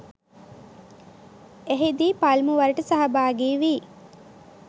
එහිදී පළමුවරට සහභාගිවී